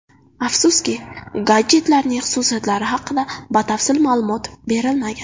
Afsuski, gadjetlarning xususiyatlari haqida batafsil ma’lumot berilmagan.